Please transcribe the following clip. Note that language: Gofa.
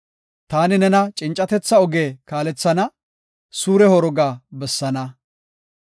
Taani nena cincatetha oge kaalethana; suure horoga bessaana.